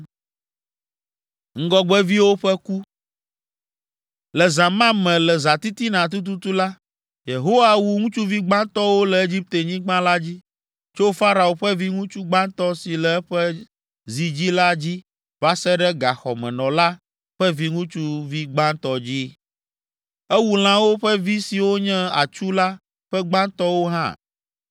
Le zã ma me, le zãtitina tututu la, Yehowa wu ŋutsuvi gbãtɔwo le Egiptenyigba la dzi, tso Farao ƒe viŋutsuvi gbãtɔ si le eƒe zi dzi la dzi va se ɖe gaxɔmenɔla ƒe viŋutsuvi gbãtɔ dzi. Ewu lãwo ƒe vi siwo nye atsu la ƒe gbãtɔwo hã.